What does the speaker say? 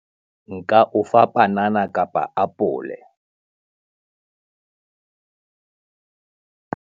Nka o fa panana kapa apole.